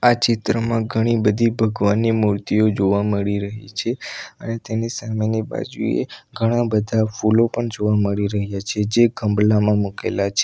આ ચિત્રમાં ઘણી બધી ભગવાનની મૂર્તિઓ જોવા મળી રહી છે અને તેની સામેની બાજુએ ઘણા બધા ફૂલો પણ જોવા મળી રહ્યા છે જે ગંભલામાં મુકેલા છે.